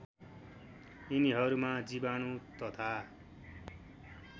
यिनीहरूमा जीवाणु तथा